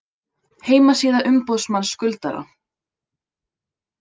Heimasíða umboðsmanns skuldara